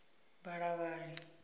balavhali